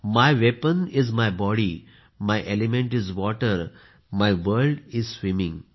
my weapon is my body my element is water my world is swimming